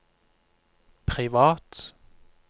privat